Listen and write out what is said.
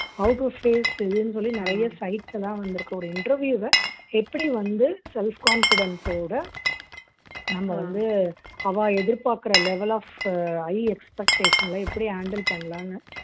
how to face இதுன்னு சொல்லி நிறைய sites எல்லாம் வந்திருக்கு ஒரு interview வை எப்படி வந்து self confidence ஓட நம்ம வந்து அவா எதிர்பார்க்கிற level of உ high expectation ல எப்படி handle பண்ணலான்னு